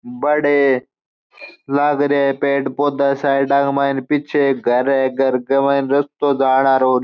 बड़े लाग रिया है पेड़ पौधा साइडा के मायने पीछे एक घर है घर के मायने रास्तो जाड़ा और --